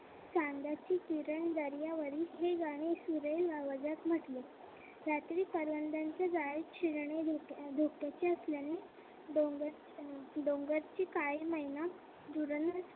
चांदण्याचे किरण दर्यावरी हे गाणं सुरेल आवाजात म्हटले. रात्री करवंदांची जाळी हिरण्य झोपत असल्याने डोंगर डोंगरची काळी मैना धुरण्य